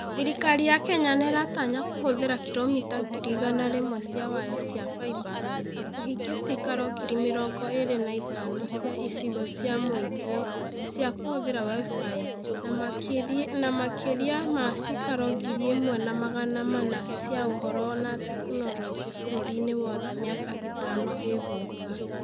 Thirikari ya Kenya nĩ ĩratanya kũhũthĩra kilomita ngiri igana rĩmwe cia waya cia fibre na kũhingia ciikaro ngiri mĩrongo ĩĩrĩ na ithano cia icigo cia mũingĩ cia kũhũthĩra WIFI na makĩria ma ciikaro ngiri ĩmwe na magana mana cia Ũhoro na Teknoroji bũrũri-inĩ wothe mĩaka ĩtano ĩgũka.